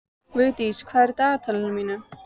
Vildís, hvað er í dagatalinu mínu í dag?